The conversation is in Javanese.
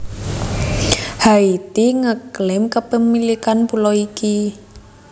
Haiti nge klaim kepemilikan pulo iki